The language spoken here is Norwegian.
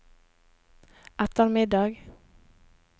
ettermiddag